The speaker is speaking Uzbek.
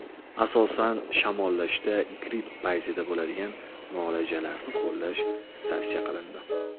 Asosan, shamollashda, gripp paytida bo‘ladigan muoalajalarni qo‘llash tavsiya qilindi.